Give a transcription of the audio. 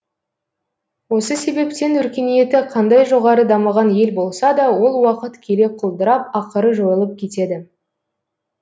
осы себептен өркениеті қандай жоғары дамыған ел болса да ол уақыт келе құлдырап ақыры жойылып кетеді